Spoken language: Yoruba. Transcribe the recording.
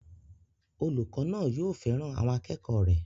Olùkọ́ náà yóò fẹ́ràn àwọn akẹ́kọ̀ọ́ rẹ̀